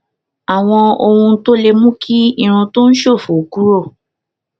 àwọn ohun tó lè mú kí irun tó ń ṣòfò kúrò